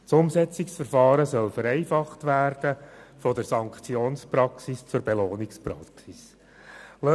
Das Umsetzungsverfahren soll vereinfacht werden, indem von der Sanktions- zur Belohnungspraxis übergegangen wird.